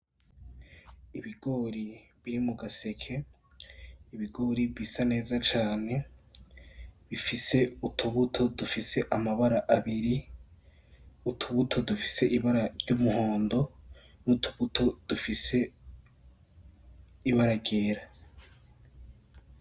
Ibigori biri mu gaseke. Ibigori bisa neza cane, bifise utubuto dufise amabara abiri. Utubuto dufise ibara ry’umuhondo, n’utubuto dufise ibara ryera.